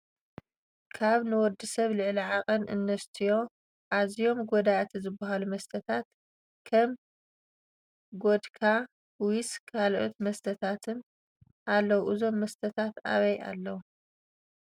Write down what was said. ካብ ንወድሰብ ልዕሊ ዓቀን እንተሰትዩ ኣዝዮም ጎዳእቲ ዝበሃሉ መስተታት ከም፣ ጎድካ ፣ ዊስኪ፣ ካልኦት መስተታትን ኣለዉ ። እዞም መስተታት ኣበይ ኣለዉ?